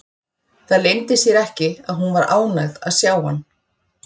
Það leyndi sér ekki að hún var ánægð að sjá hann.